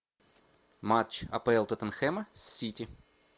матч апл тоттенхэма с сити